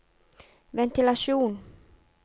ventilasjon